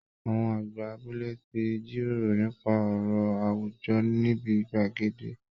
Àwọn àgbà abúlé ti jíròrò nípa ọ̀rọ̀ àwùjọ níbi gbàgede